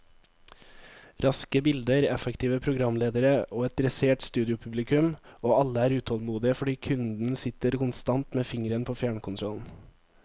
Raske bilder, effektive programledere og et dressert studiopublikum, og alle er utålmodige fordi kunden sitter konstant med fingeren på fjernkontrollen.